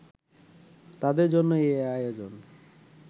তাদের জন্যই এ আয়োজন